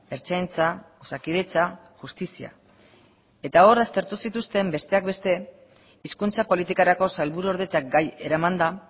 ertzaintza osakidetza justizia eta hor aztertu zituzten besteak beste hizkuntza politikarako sailburuordetzak gai eramanda